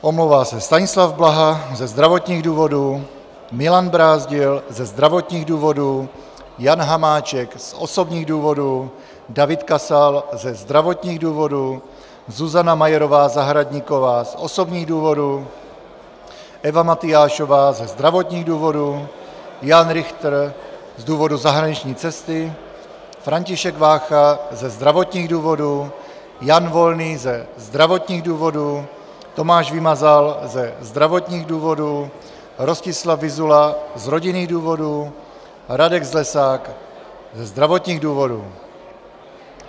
Omlouvá se Stanislav Blaha ze zdravotních důvodů, Milan Brázdil ze zdravotních důvodů, Jan Hamáček z osobních důvodů, David Kasal ze zdravotních důvodů, Zuzana Majerová Zahradníková z osobních důvodů, Eva Matyášová ze zdravotních důvodů, Jan Richter z důvodu zahraniční cesty, František Vácha ze zdravotních důvodů, Jan Volný ze zdravotních důvodů, Tomáš Vymazal ze zdravotních důvodů, Rostislav Vyzula z rodinných důvodů, Radek Zlesák ze zdravotních důvodů.